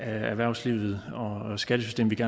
erhvervslivet og skattesystemet